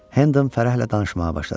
Hendon fərəhlə danışmağa başladı.